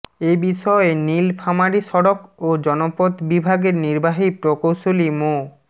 এ বিষয়ে নীলফামারী সড়ক ও জনপথ বিভাগের নির্বাহী প্রকৌশলী মো